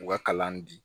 U ka kalan di